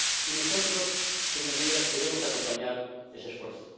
Y nosotros, señorías, debemos acompañar ese esfuerzo.